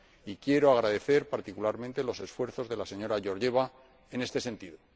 Y quiero agradecer particularmente los esfuerzos de la señora Georgieva en este sentido.